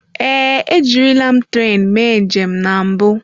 Ee, ejirila m tren mee njem na mbụ.